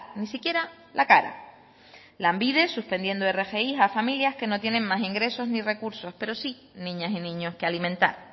ni siquiera la cara lanbide suspendiendo rgi a familias que no tienen más ingresos ni recursos pero sí niñas y niños que alimentar